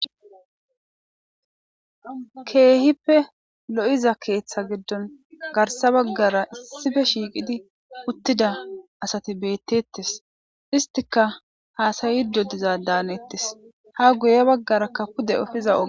Keehippe lo'iza keeththa giddon garssa baggara issife shiiqidi uttida asati beettettes istika haasayide diza daanettes ha guye baggarakka pude efiza oge.